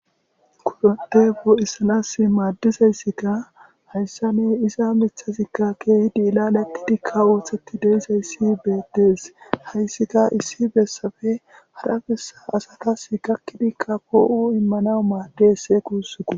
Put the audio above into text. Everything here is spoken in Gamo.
Koronte po'isanaw madiza mishati haysani iza kehi laletidi kaosetidi bettes haysika issi bessape hara besa qaseka hara besas po'o imanas mades gusuko